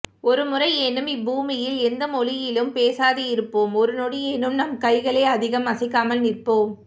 ஒரு முறையேனும் இப்பூமியில் எந்த மொழியிலும் பேசாதிருப்போம் ஒருநொடியேனும் நம் கைகளை அதிகம் அசைக்காமல் நிற்போம்